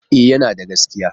E, yana da gaskiya.